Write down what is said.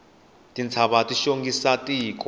tintshava ti xongisa tiko